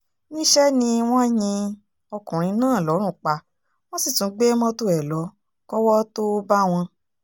níṣẹ́ ni wọ́n yin ọkùnrin náà lọ́rùn pa wọ́n sì tún gbé mọ́tò ẹ̀ lọ kọ́wọ́ tóo bá wọn